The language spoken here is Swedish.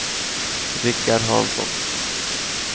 Richard Hansson